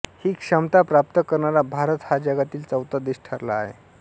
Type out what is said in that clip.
ही क्षमता प्राप्त करणारा भारत हा जगातील चौथा देश ठरला आहे